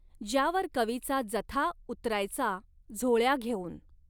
ज्यावर कवीचा जथा उतरायचा झोळ्या घेऊन.